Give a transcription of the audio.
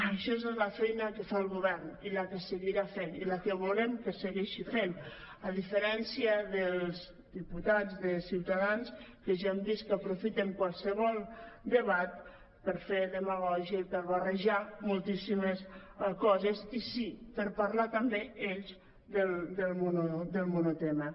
això és la feina que fa el govern i la que se·guirà fent i la que volem que segueixi fent a diferència dels diputats de ciutadans que ja hem vist que aprofiten qualsevol debat per fer demagògia i per barrejar mol·tíssimes coses i sí per parlar també ells del monotema